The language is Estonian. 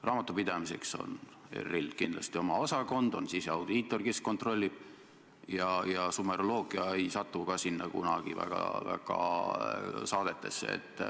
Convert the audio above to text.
Raamatupidamiseks on ERR-il kindlasti oma osakond – on siseaudiitor, kes kontrollib – ja sumeroloogia ei satu just kuigi sageli saadetesse.